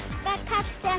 það